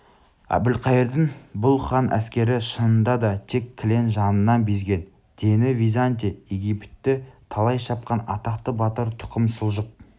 әбілқайырдың бұл хан әскерішынында да тек кілең жанынан безген дені византия египетті талай шапқан атақты батыр тұқым сұлжық